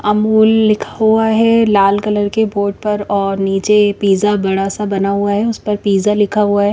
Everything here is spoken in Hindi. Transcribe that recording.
अमूल लिखा हुआ है लाल कलर के बोर्ड पर और नीचे पिज़्ज़ा बड़ा सा बना हुआ है उस पर पिज़्ज़ा लिखा हुआ है।